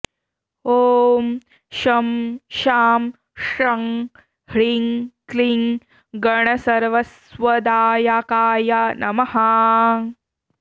ॐ शं शां षं ह्रीं क्लीं गणसर्वस्वदायाकाय नमः